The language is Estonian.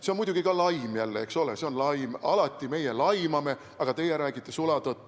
See on muidugi ka jälle laim, eks ole, see on laim – meie alati laimame, aga teie räägite sulatõtt.